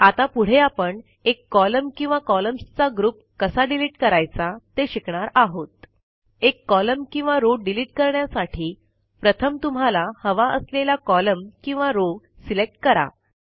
आता पुढे आपण एक कॉलम किंवा कॉलम्सचा ग्रुप कसा डिलिट करायचा ते शिकणार आहोत160 एक कॉलम किंवा रो डिलिट करण्यासाठी प्रथम तुम्हाला हवा असलेला कॉलम किंवा रो सिलेक्ट करा